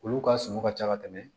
Olu ka suman ka ca ka tɛmɛ